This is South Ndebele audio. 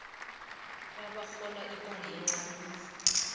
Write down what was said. abarhola imali encani